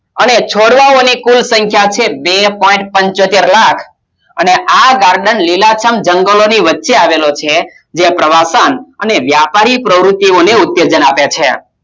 અને છોડવાઓ અને કુલ સંખ્યા છે બે point પંચોતેર લાખ અને આ garden લીલાછમ જંગલો ની વચ્ચે આવેલો છે જે પ્રવાસન અને વ્યાપારી પ્રવૃત્તિઓને ઉત્તેજન આપે છે